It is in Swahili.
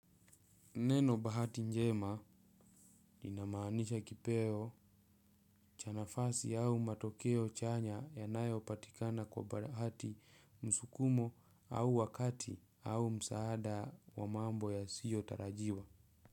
Neno bahati njema linamaanisha kipeo cha nafasi au matokeo chanya yanayopatikana kwa bahati, msukumo au wakati au msaada wa mambo yasiyotarajiwa.